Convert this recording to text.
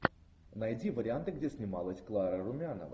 найди варианты где снималась клара румянова